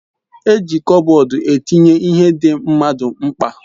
E ji Kopbodu etinye ihe di mmadu mkpa